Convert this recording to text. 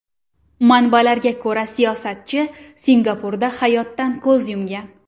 Manbalarga ko‘ra, siyosatchi Singapurda hayotdan ko‘z yumgan.